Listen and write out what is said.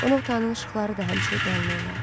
Qonaq otağının işıqları da həmişə yanılı olardı.